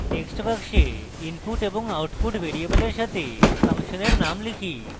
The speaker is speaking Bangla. text box input এবং output ভ্যারিয়েবলের সাথে ফাংশনের name type